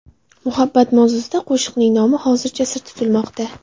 Muhabbat mavzusidagi qo‘shiqning nomi hozircha sir tutilmoqda.